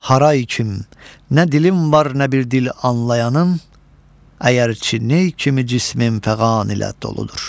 Haray kim, nə dilim var nə bir dil anlayanın, əgər çi nə kimi cismim fəğan ilə doludur.